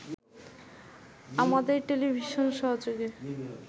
আমাদের টেলিভিশন সহযোগী